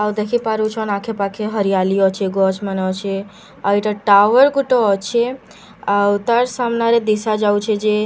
ଆଉ ଦେଖି ପାରୁଛନ ଆଖେ ପାଖେ ହରିୟାଲି ଅଛେ ଗଛ ମାନେ ଅଛେ ଆଉ ଏଟା ଟାୱେଲ୍ ଗୁଟେ ଅଛେ ଆଉ ତାର ସାମ୍ନା ରେ ଦିଶା ଯାଉଛେ ଯେ ହାବେଲ୍‌--